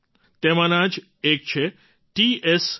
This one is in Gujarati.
તેમાંના જ એક છે ટી એસ રિંગફામી યોંગ t